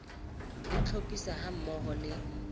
le tlhophiso ha mmoho le